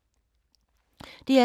DR2